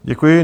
Děkuji.